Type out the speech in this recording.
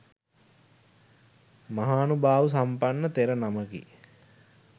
මහානුභාව සම්පන්න තෙර නමකි.